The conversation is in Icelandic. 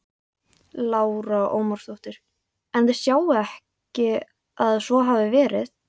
Lára Ómarsdóttir: En þið sjáið ekki að svo hafi verið?